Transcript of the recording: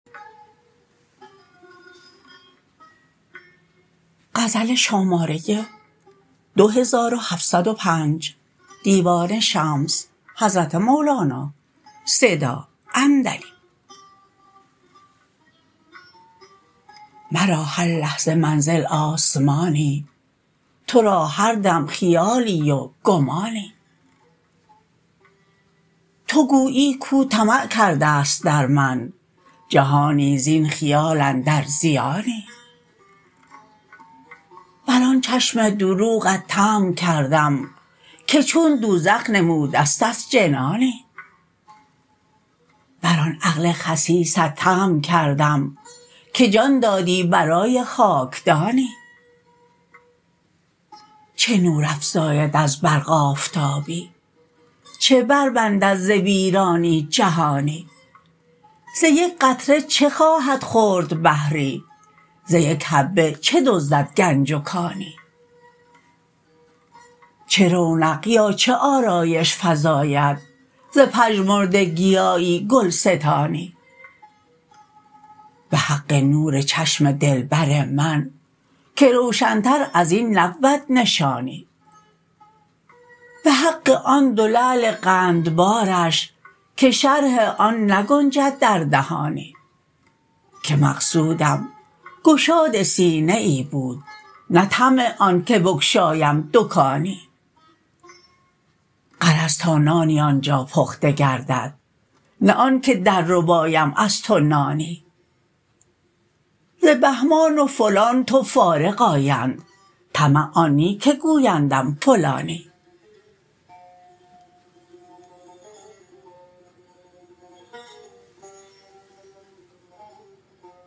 مرا هر لحظه منزل آسمانی تو را هر دم خیالی و گمانی تو گویی کو طمع کرده ست در من جهانی زین خیال اندر زیانی بر آن چشم دروغت طمع کردم که چون دوزخ نمودستت جنانی بر آن عقل خسیست طمع کردم که جان دادی برای خاکدانی چه نور افزاید از برق آفتابی چه بربندد ز ویرانی جهانی ز یک قطره چه خواهد خورد بحری ز یک حبه چه دزدد گنج و کانی چه رونق یا چه آرایش فزاید ز پژمرده گیایی گلستانی به حق نور چشم دلبر من که روشنتر از این نبود نشانی به حق آن دو لعل قندبارش که شرح آن نگنجد در دهانی که مقصودم گشاد سینه ای بود نه طمع آنک بگشایم دکانی غرض تا نانی آن جا پخته گردد نه آنک درربایم از تو نانی ز بهمان و فلان تو فارغ آیند طمع آن نی که گویندم فلانی